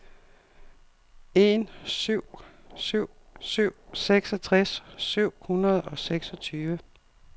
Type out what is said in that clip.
en syv syv syv seksogtres syv hundrede og seksogtyve